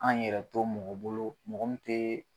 An yɛrɛ to mɔgɔ bolo mɔgɔ min tee